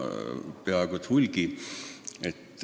Neid on peaaegu et hulgi.